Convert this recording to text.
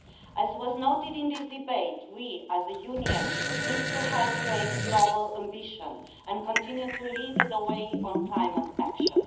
As was noted in this debate, we, as a Union, need to help raise global ambition and continue to lead the way on climate action.